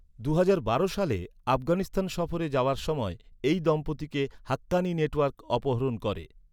দুহাজার বারো সালে আফগানিস্তান সফরে যাওয়ার সময় এই দম্পতিকে হাক্কানি নেটওয়ার্ক অপহরণ করে।